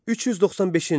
395-ci il.